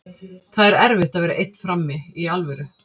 Það er erfitt að vera einn frammi, í alvöru.